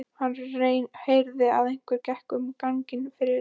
Hann heyrði að einhver gekk um ganginn fyrir utan.